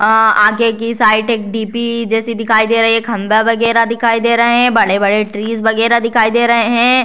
अ आगे की साइड एक डी.पी. जैसी दिखाई दे रही है खंभा वगैरा दिखाई दे रहे है बडे़-बड़े ट्रीज वगैरा दिखाई दे रहे है।